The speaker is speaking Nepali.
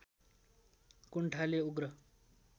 कुण्ठाले उग्र